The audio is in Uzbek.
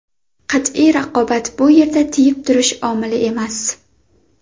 Qat’iy raqobat bu yerda tiyib turish omili emas.